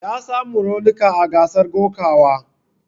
Ya samu raunika a gasar kokawa.